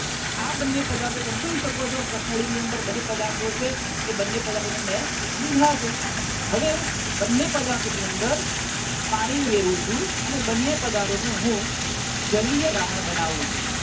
આ બંને પદાર્થો તમે જોઈ શકો છો. કસનળી ની અંદર બંને પદાર્થો છે એ બંને પદાર્થો ને મેં લીધા છે હવે હું બંને પદાર્થ ની અંદર પાણી ઉમેરું છું અને બંને પદાર્થો નું હું જલિય દ્રાવણ બનાવું છું.